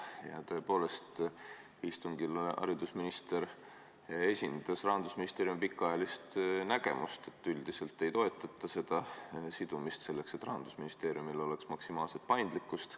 Ja tõepoolest, istungil esitles haridusminister Rahandusministeeriumi pikaajalist nägemust, et üldiselt sidumist ei toetata, selleks et Rahandusministeeriumil oleks maksimaalselt paindlikkust.